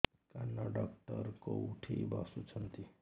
କାନ ଡକ୍ଟର କୋଉଠି ବସୁଛନ୍ତି